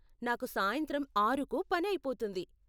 నాకు సాయంత్రం ఆరుకు పని అయిపోతుంది.